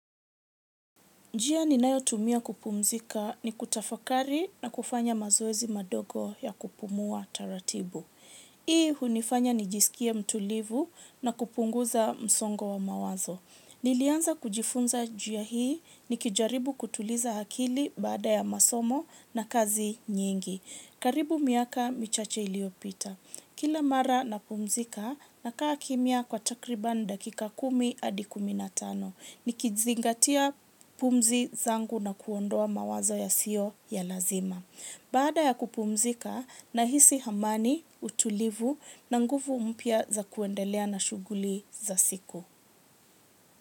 Njia ni nayo tumia kupumzika ni kutafakari na kufanya mazoezi madogo ya kupumua taratibu. Hii hunifanya ni jisikie mtulivu na kupunguza msongo wa mawazo. Nilianza kujifunza njia hii ni kijaribu kutuliza hakili bada ya masomo na kazi nyingi. Karibu miaka michache iliopita. Kila mara na pumzika na kaa kimia kwa takriban dakika kumi adikuminatano. Ni kizingatia pumzi zangu na kuondoa mawazo ya sio ya lazima. Bada ya kupumzika, nahisi hamani, utulivu na nguvu mpia za kuendelea na shuguli za siku.